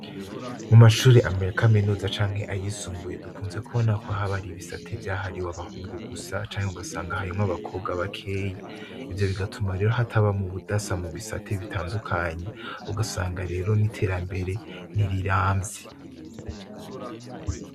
mu mashure amere ya kaminuza canke ayisumbuye dukunze kubona ko habari bisate vyahariwe abahungu gusa canke ugasanga hayimw abakobwa bakeyi ivyo bigatuma rero hataba mu budasa mu bisate bitandukanye ugasanga rero n'iterambere n'iriramvye